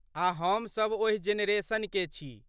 आ हमसभ ओहि जेनेरेशन के छी।